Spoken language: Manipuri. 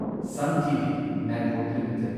sun TV network limited